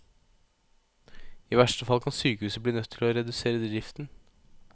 I verste fall kan sykehuset bli nødt til å redusere driften.